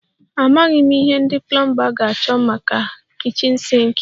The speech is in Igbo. Amaghị m ihe ndị plomba ga-achọ maka kichin sinki